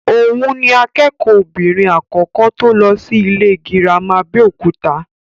Òhun ni akẹ́kọ̀ọ́ obìnrin àkọ́kọ́ tó lọ sí ilé gírámà Abẹ́òkúta.